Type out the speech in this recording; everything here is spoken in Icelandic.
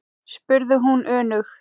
spurði hún önug.